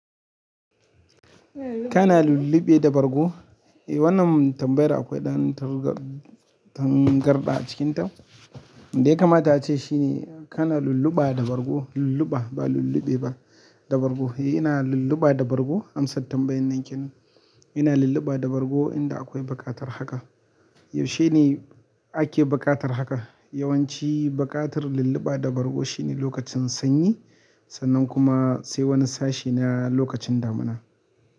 Kana lulluɓe da bargo? Eh, wannan tambayar da akwai ɗan tangarɗa a cikinta. Yanda ya kamata ace shine kana lulluɓa da bargo, lulluɓa ba lulluɓe ba da bargo. Eh, ina lulluɓa da bargo amsar tambayar nan kenan. Ina lulluɓa da bargo inda akwai baƙatar haka. Yaushe ne ake baƙatar haka? Yawanci buƙatar lulluɓa da bargo shine lokacin sanyi sannan kuma sai wani sashe na lokacin damina.